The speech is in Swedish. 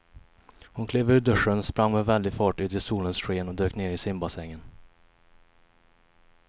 Hon klev ur duschen, sprang med väldig fart ut i solens sken och dök ner i simbassängen.